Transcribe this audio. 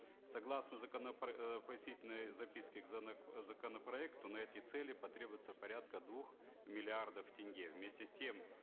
согласно закона э пояснительной записки к законопроекту на эти цели потребуется порядка двух миллиардов тенге вместе с тем